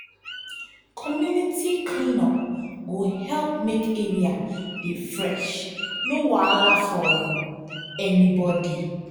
community clean up go help make area dey fresh no wahala for um anybody.